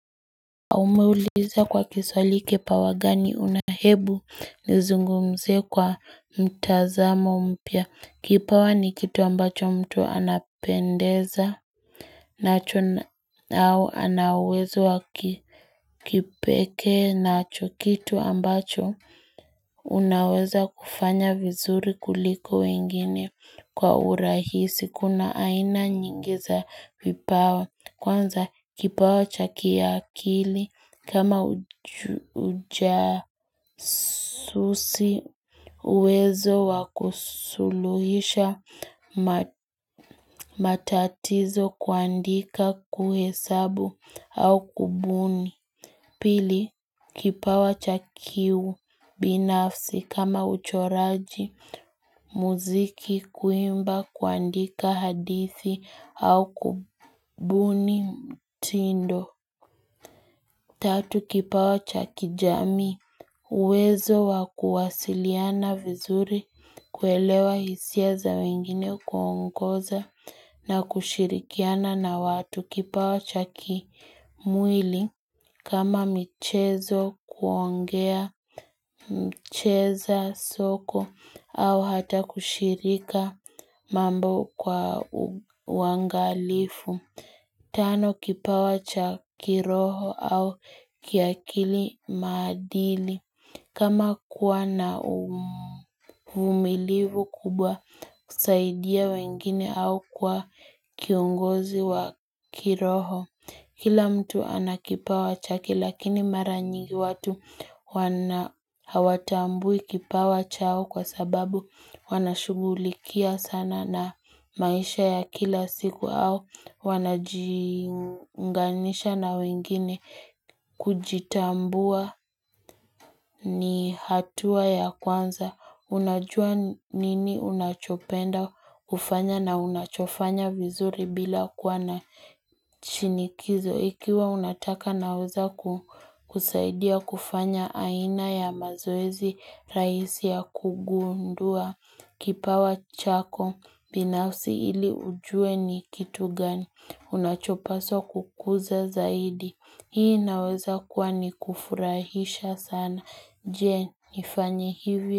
Aumeuliza kwa kiswahili kipawa gani una hebu nizungumzie kwa mtazamo mpya. Kipawa ni kitu ambacho mtu anapendeza. Nacho au ana uwezo wa kipeke nacho kitu ambacho. Unaweza kufanya vizuri kuliko wengine. Kwa urahisi kuna aina nyingi za vipawa. Kwanza kipawa chaki akili. Kama ujasusi uwezo wakusuluhisha matatizo kuandika kuhesabu au kubuni. Pili, kipawa cha kiubinafsi kama uchoraji muziki kuimba kuandika hadithi au kubuni mtindo. Tatu kipawa cha kijamii uwezo wa kuwasiliana vizuri kuelewa hisia za wengine kuwaongoza na kushirikiana na watu kipawa cha kimwili kama mchezo kuongea mcheza soko au hata kushirika mambo kwa uwangalifu. Tano, kipawa cha kiroho au kiakili maadili. Kama kuwa na umilivu kubwa, kusaidia wengine au kuwa kiungozi wa kiroho. Kila mtu ana kipawa cha kilakini maranyingi watu wana hawatambui kipawa chao kwa sababu wana shugulikia sana na maisha ya kila siku au Wanajiunganisha na wengine kujitambua ni hatua ya kwanza Unajua nini unachopenda ufanya na unachofanya vizuri bila kuwa na shinikizo Ikiwa unataka naweza kusaidia kufanya aina ya mazoezi rahisi ya kugundua Kipawa chako binausi ili ujue ni kitu gani Unachopaswa kukuza zaidi Hii inaweza kuwa ni kufurahisha sana Je nifanye hivyo.